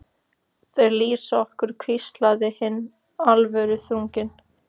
Þeir lýsa okkur hvíslaði hinn alvöruþrunginn.